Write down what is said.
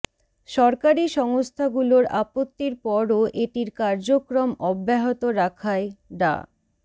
সরকারি সংস্থাগুলোর আপত্তির পরও এটির কার্যক্রম অব্যাহত রাখায় ডা